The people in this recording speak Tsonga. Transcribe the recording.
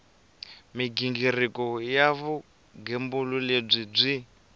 mighingiriko ya vugembuli lebyi byi